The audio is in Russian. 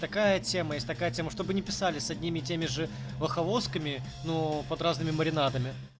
какая тема есть такая тема чтобы не писали с одними и теми же ваховсками но под разными маринадом